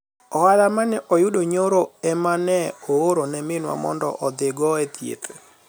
ohala manye ayudo nyoro ema nye aoro ne minwa mondo odhi go e thieth